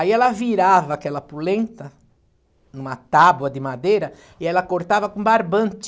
Aí ela virava aquela pulenta numa tábua de madeira e ela cortava com barbante.